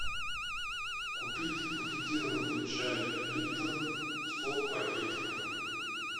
купить пакетированный чай липтон сто пакетиков